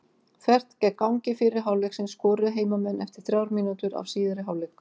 Þvert gegn gangi fyrri hálfleiksins skoruðu heimamenn eftir þrjár mínútur af síðari hálfleik.